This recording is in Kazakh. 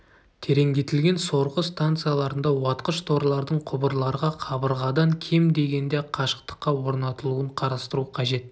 тереңдетілген сорғы станцияларында уатқыш-торлардың құбырларға қабырғадан кем дегенде қашықтыққа орнатылуын қарастыру қажет